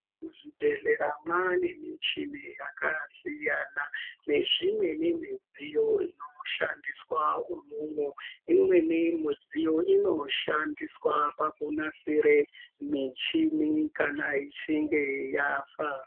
Muzvibhedhlera Mwane michini yakasiyana nezvimweni midziyo inoshandiswa imwomwo imweni midziyo inoshandiswa pakunaksira muchini ichinge yafa.